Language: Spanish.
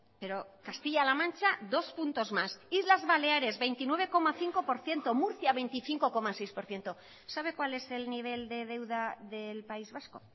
pero castilla la mancha dos puntos más islas baleares veintinueve coma cinco por ciento murcia veinticinco coma seis por ciento sabe cuál es el nivel de deuda del país vasco